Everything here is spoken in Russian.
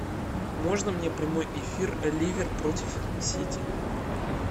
можно мне прямой эфир ливер против сити